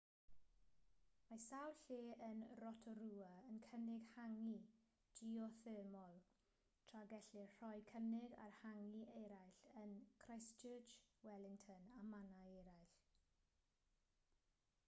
mae sawl lle yn rotorua yn cynnig hangi geothermol tra gellir rhoi cynnig ar hangi eraill yn christchurch wellington a mannau eraill